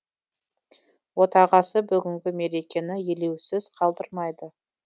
отағасы бүгінгі мерекені елеусіз қалдырмайды